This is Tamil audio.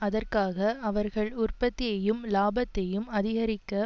அதற்காக அவர்கள் உற்பத்தியையும் இலாபத்தையும் அதிகரிக்க